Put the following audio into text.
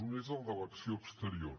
un és el de l’acció exterior